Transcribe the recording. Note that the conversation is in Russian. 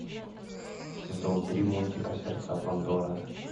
сезон три мультика сердца пандоры